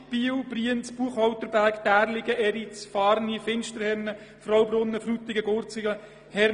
Biel, Brienz, Buchholterberg, Därligen, Eriz, Fahrni, Finsterhennen, Fraubrunnen, Frutigen, Gurzelen und Hermligen.